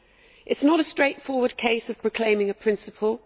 It is not a straightforward case of proclaiming a principle.